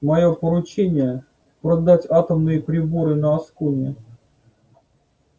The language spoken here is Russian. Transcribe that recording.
моё поручение продать атомные приборы на аскони